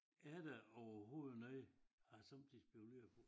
Er der overhovedet noget har jeg sommetider spekuleret på